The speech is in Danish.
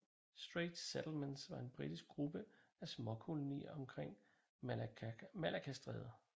Straits Settlements var en britisk gruppe af småkolonier omkring Malaccastrædet